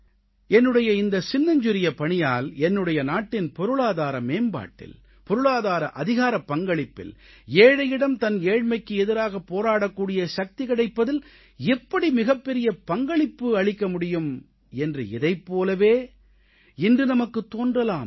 என்னுடைய இந்தச் சின்னஞ்சிறிய பணியால் என்னுடைய நாட்டின் பொருளாதார மேம்பாட்டில் பொருளாதார அதிகாரப் பங்களிப்பில் ஏழையிடம் தன் ஏழ்மைக்கு எதிராக போராடக்கூடிய சக்தி கிடைப்பதில் எப்படி மிகப்பெரிய பங்களிப்பு அளிக்க முடியும் என்று இதைப் போலவே இன்று நமக்குத் தோன்றலாம்